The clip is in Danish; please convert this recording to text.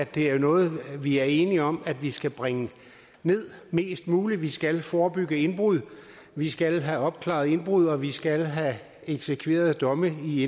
det er noget vi er enige om at vi skal bringe mest muligt nederst vi skal forebygge indbrud vi skal have opklaret indbrud og vi skal have eksekveret domme i